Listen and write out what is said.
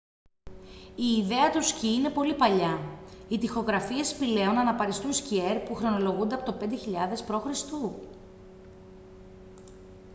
η ιδέα του σκι είναι πολύ παλιά οι τοιχογραφίες σπηλαίων αναπαριστούν σκιέρ που χρονολογούνται από το 5.000 π.χ